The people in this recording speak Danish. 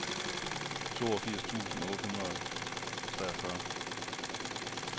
toogfirs tusind otte hundrede og treogfyrre